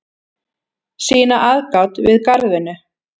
sýna aðgát við garðvinnu